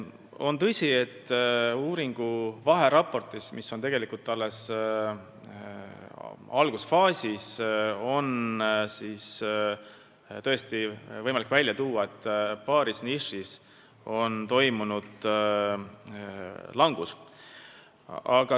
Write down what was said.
On tõsi, et uuringu vaheraportis – uuring on tegelikult alles algusfaasis – oli võimalik välja tuua, et paaris nišis on toimunud langus.